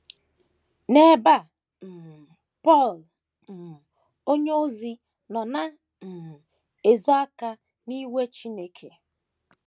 N’ebe a, um Pọl um onyeozi nọ na - um ezo aka n’iwe Chineke.